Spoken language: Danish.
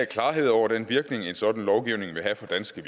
klarhed over den virkning en sådan lovgivning vil have for danske